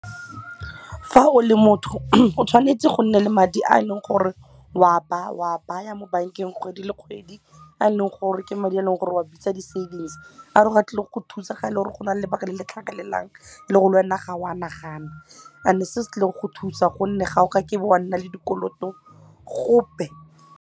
Fa o le motho o tshwanetse go nne le madi a leng gore wa ba wa baya mo bank-eng kgwedi le kgwedi a leng gore ke madi a leng gore o bitsa di savings a e leng gore a tlile go go thusa ga ele gore go nale lebaka le le tlhagelelang le e leng le lwena ga wa nagana and-e se se tlile go go thusa gonne ga o kake wa nna le dikoloto gope.